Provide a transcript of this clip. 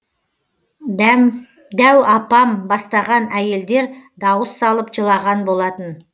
дәу апам бастаған әйелдер дауыс салып жылаған болатын